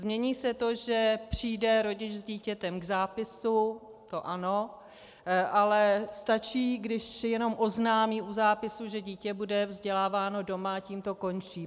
Změní se to, že přijde rodič s dítětem k zápisu, to ano, ale stačí, když jenom oznámí u zápisu, že dítě bude vzděláváno doma, a tím to končí.